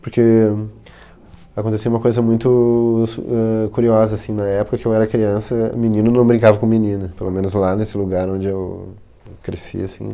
Porque acontecia uma coisa muito su éh curiosa, assim, na época que eu era criança, menino não brincava com menina, pelo menos lá nesse lugar onde eu cresci, assim.